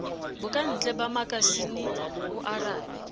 bokantle ba makasine o arabe